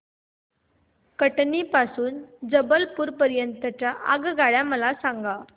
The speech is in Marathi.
कटनी पासून ते जबलपूर पर्यंत च्या आगगाड्या मला सांगा